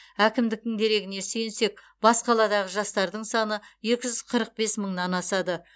әкімдіктің дерегіне сүйенсек бас қаладағы жастардың саны екі жүз қырық бес мыңнан асады